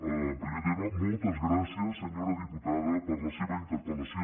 en primer terme moltes gràcies senyora diputada per la seva interpel·lació